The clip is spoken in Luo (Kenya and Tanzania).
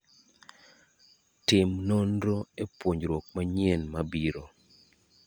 Tim nonro epuonjruok manyien mabiro.